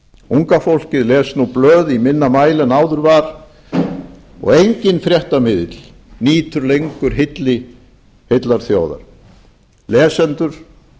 unga fólkið les nú blöð í minna mæli en áður var og enginn fréttamiðill nýtur lengur hylli heillar þjóðar lesendur